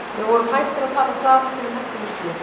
Við vorum hættir að tala saman því við nenntum þessu ekki.